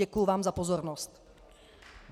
Děkuji vám za pozornost.